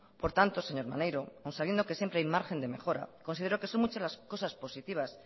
por tanto señor maneiro aún sabiendo que siempre hay margen de mejora considero que son muchas las cosas positivas